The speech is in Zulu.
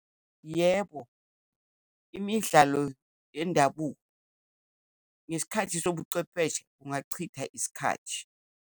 Yebo, imidlalo yendabuko, ngesikhathi sobuchwepheshe kungachitha isikhathi.